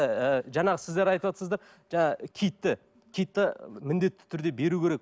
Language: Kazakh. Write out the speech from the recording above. ы жаңағы сіздер айтыватсыздар жаңағы киітті киітті міндетті түрде беру керек